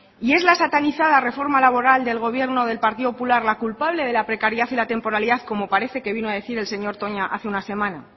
y es la satanizada reforma laboral del gobierno del partido popular la culpable de la precariedad y la temporalidad como parece que vino a decir el señor toña hace una semana